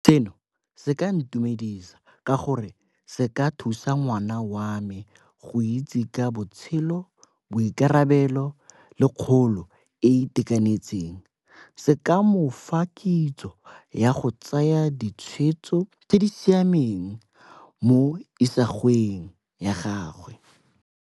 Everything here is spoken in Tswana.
Seno se ka ntumedisa ka gore se ka thusa ngwana wa me go itse ka botshelo, boikarabelo le kgolo e e itekanetseng. Se ka mofa kitso ya go tsaya ditshwetso tse di siameng mo isagweng ya gagwe.